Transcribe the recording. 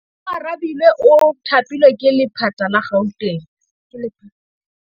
Oarabile o thapilwe ke lephata la Gauteng.